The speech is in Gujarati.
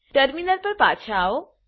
ટર્મિનલ પર પાછા આવો